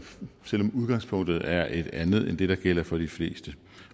udgangspunktet er et andet end det der gælder for de fleste